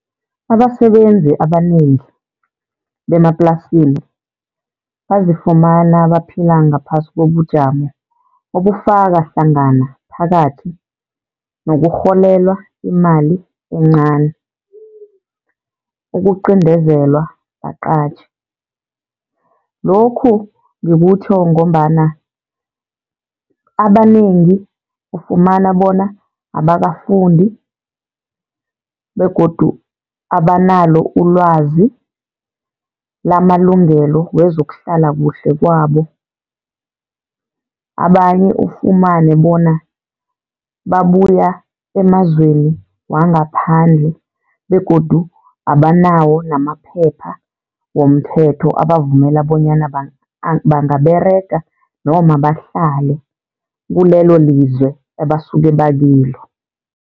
Abasebenzi abanengi bemaplasini bazifumana baphila ngaphasi kobujamo obufaka hlangana phakathi nokurholelwa imali encani, ukuqindezelwa baqatjhi. Lokhu ngikutjho ngombana abanengi ufumana bona abakafundi begodu abanalo ulwazi lamalungelo wezokuhlala kuhle kwabo. Abanye ufumane bona babuya emazweni wangaphandle begodu abanawo namaphepha womthetho, abavumela bonyana bangaberega noma bahlale kulelo lizwe ebasuka bakilo.